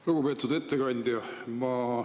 Lugupeetud ettekandja!